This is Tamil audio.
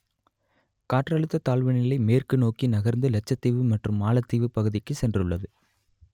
காற்றழுத்த தாழ்வுநிலை மேற்கு நோக்கி நகர்ந்து லட்சத்தீவு மற்றும் மாலத்தீவு பகுதிக்கு சென்றுள்ளது